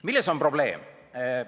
" Milles on probleem?